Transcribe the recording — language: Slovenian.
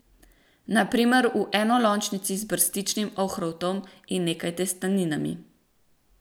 Na primer v enolončnici z brstičnim ohrovtom in nekaj testeninami.